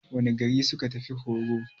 Wane gari suka tafi horo?